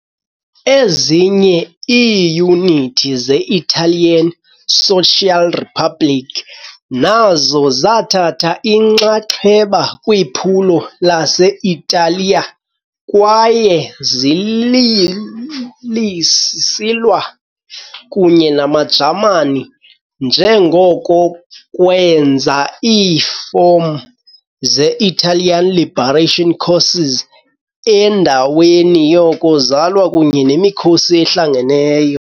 Ezinye iiyunithi ze -Italian Social Republic nazo zathatha inxaxheba kwiphulo lase-Italiya kwaye zisilwa kunye namaJamani, njengoko kwenza iifom ze- Italian Liberation Corps endaweni yoko zalwa kunye nemikhosi ehlangeneyo.